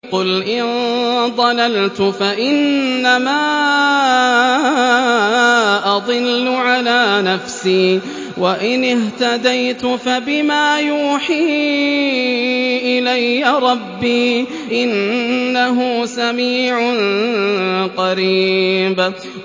قُلْ إِن ضَلَلْتُ فَإِنَّمَا أَضِلُّ عَلَىٰ نَفْسِي ۖ وَإِنِ اهْتَدَيْتُ فَبِمَا يُوحِي إِلَيَّ رَبِّي ۚ إِنَّهُ سَمِيعٌ قَرِيبٌ